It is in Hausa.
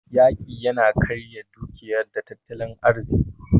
Yaƙi yana karya dukiya da tattalin arziki.